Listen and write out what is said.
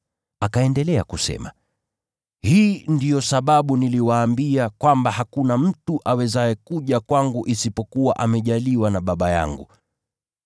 Akaendelea kusema, “Hii ndiyo sababu niliwaambia kwamba hakuna mtu awezaye kuja kwangu isipokuwa amejaliwa na Baba yangu.”